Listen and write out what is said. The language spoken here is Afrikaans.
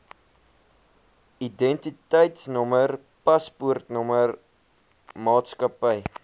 identiteitnommer paspoortnommer maatskappy